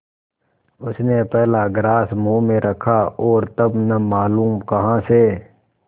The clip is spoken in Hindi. उसने पहला ग्रास मुँह में रखा और तब न मालूम कहाँ से